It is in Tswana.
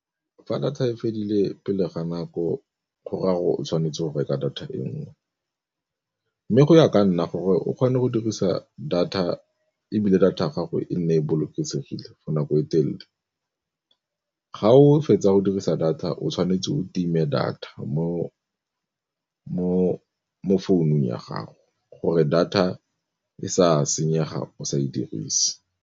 Fa data e fedile pele ga nako gore a gore o tshwanetse go reka data e nngwe, mme go ya ka nna gore o kgone go dirisa data, ebile data ya gago e nne e bolokesegile for nako e telele ga o fetsa go dirisa data o tshwanetse o time data mo founung ya gago gore data e sa senyega o sa e dirise.